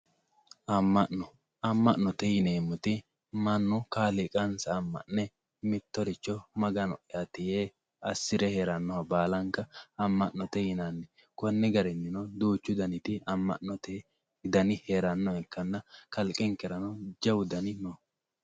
Ama'no, ama'note yineemmoti ,mannu kaaliiqansa ama'ne mittoricho Magano'yati yee assire heeranoha baallanka ama'note yinanni koni garinino duuchu gariti ama'note dani heeranoha ikkanna kalqenkerano jawu ama'note dani no.